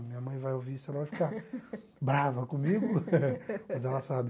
Minha mãe vai ouvir isso, ela vai ficar brava comigo, mas ela sabe.